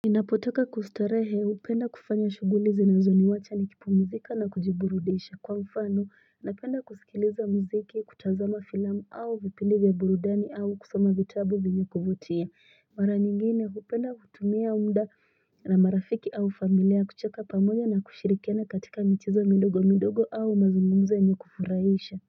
Inapoteka kustarehe upenda kufanya shugulize na zoni wata ni kipu mzika na kujiburudesha kwa mfano na penda kusikiliza mziki kutazama filamu au vipindivya burudani au kusama vitabu vinyakuvotia Mara nyingine upenda hutumia umda na marafiki au familia kucheka pamoja na kushirikiana katika mitizo midogo midogo au mazungumze nyo kufuraisha.